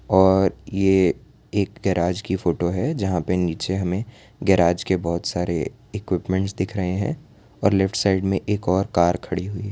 और ये एक गराज की फोटो है जहां पर नीचे हमें गराज के बहोत सारे इक्विपमेंट्स दिख रहे हैं और लेफ्ट साइड में एक और कार खड़ी हुई है।